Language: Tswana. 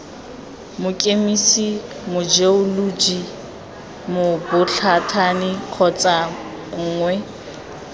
mokemise mojeoloji mobothani kgotsa nngwe